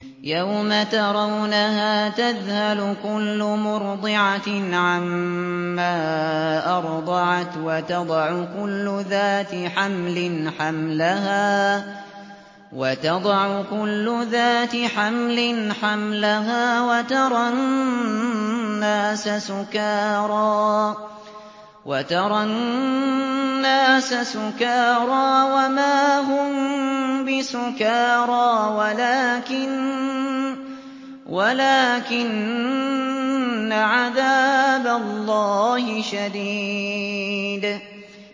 يَوْمَ تَرَوْنَهَا تَذْهَلُ كُلُّ مُرْضِعَةٍ عَمَّا أَرْضَعَتْ وَتَضَعُ كُلُّ ذَاتِ حَمْلٍ حَمْلَهَا وَتَرَى النَّاسَ سُكَارَىٰ وَمَا هُم بِسُكَارَىٰ وَلَٰكِنَّ عَذَابَ اللَّهِ شَدِيدٌ